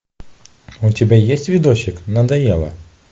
у тебя есть видосик надоело